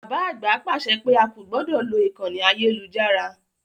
Bàbá àgbà pàṣẹ pé a kò gbọdọ̀ lo ìkànnì ayélujára.